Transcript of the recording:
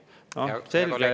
" No selge, et …